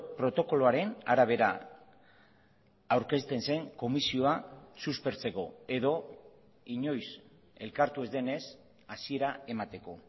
protokoloaren arabera aurkezten zen komisioa suspertzeko edo inoiz elkartu ez denez hasiera emateko